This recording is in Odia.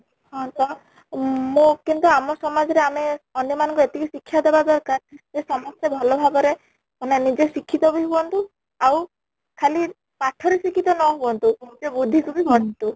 ହଁ, ତ ମ କିନ୍ତୁ ଆମ ସମାଜ ରେ ଆମେ ଅନ୍ୟ ମନ ଙ୍କୁ ଏତିକି ଶିକ୍ଷା ଦବା ଦରକାର ଯେ ସମସ୍ତେ ଭଲ ଭାବରେ ମାନେ ନିଜେ ଶିକ୍ଷିତ ବି ହୁଅନ୍ତୁ ଆଉ ଖାଲି ପାଠ ରେ ଶିକ୍ଷିତ ନ ହୁଅନ୍ତୁ ବୁଦ୍ଧି କୁ ବି